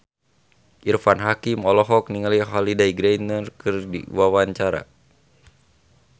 Irfan Hakim olohok ningali Holliday Grainger keur diwawancara